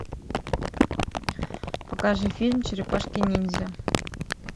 покажи фильм черепашки ниндзя